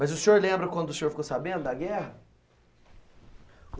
Mas o senhor lembra quando o senhor ficou sabendo da guerra?